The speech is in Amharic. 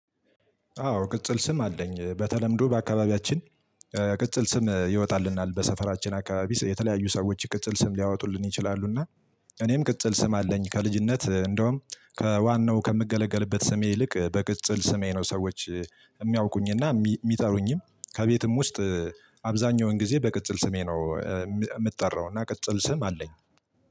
አዎ ቅጽል ስም አለኝ በተለምዶ በአካባቢያችን ቅጽል ስም ይወጣልናል በሰፈራችን አካባቢ የተለያዩ ሰዎች ቅጽል ስም ሊያወጡልን ይችላሉ። እና እኔም ቅጽል ስም አለኝ ከልጅነት እንዲሁም ከዋናው ከምገለገልበት ስሜ ይልቅ በቅጽል ስሜ ነው ሰዎች የምያዉቁኝ እና የምጠሩኝም ከቤትም ውስጥ አብዛኛው ጊዜ በቅጽል ስሜ ነው። የምጠራዉና የቅጽል ስም አለኝ።